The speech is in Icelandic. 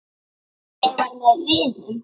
Ég var með vinum.